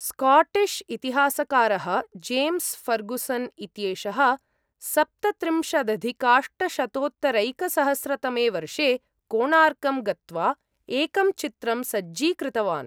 Scottish इतिहासकारः James Fergusson इत्येषः सप्तत्रिंशदधिकाष्टशतोत्तरैकसहस्रतमे वर्षे कोणार्कं गत्वा एकं चित्रं सज्जीकृतवान्।